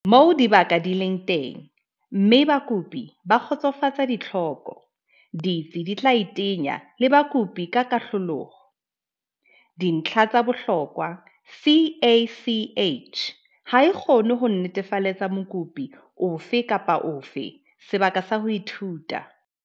Moo dibaka di leng teng mme bakopi ba kgotsofatsa ditlhoko, ditsi di tla iteanya le bakopi ka kotloloho. Dintlha tsa bohlokwa CACH ha e kgone ho netefalletsa mokopi ofe kapa ofe sebaka sa ho ithuta.